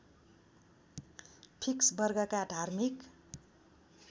fix वर्गका धार्मिक